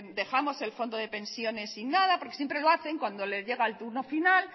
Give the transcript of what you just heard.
dejamos el fondo de pensiones sin nada porque siempre lo hacen cuando les llega el turno final